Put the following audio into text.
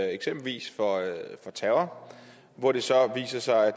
eksempelvis for terror og hvor det så viser sig at